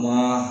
Wa